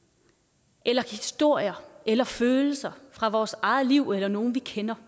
eller vi historier eller følelser fra vores eget liv eller nogen vi kender